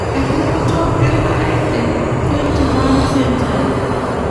eripoto enkare te 21 century